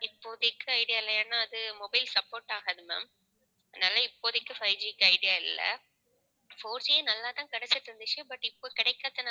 இப்போதைக்கு idea இல்லைன்னா அது mobile support ஆகாது ma'am அதனால இப்போதைக்கு fiveG க்கு idea இல்லை fourG யே நல்லாதான் கிடைச்சிட்டு இருந்துச்சு. but இப்போ கிடைக்காததுனாலதான்